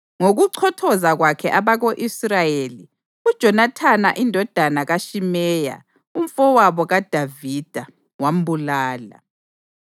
Ngokuchothoza kwakhe abako-Israyeli, uJonathani indodana kaShimeya, umfowabo kaDavida, wambulala.